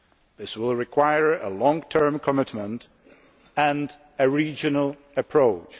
This will require a long term commitment and a regional approach.